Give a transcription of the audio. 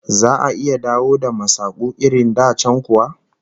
Za'a iya dawo da masaku irin da can kuwa?